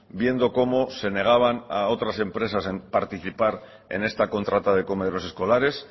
viendo cómo se negaban a otras empresas a participar en esta contrata de comedores escolares